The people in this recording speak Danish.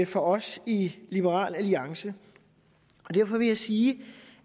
for os i liberal alliance og derfor vil jeg sige